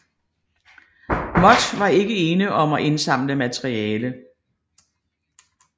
Moth var ikke ene om at indsamle materiale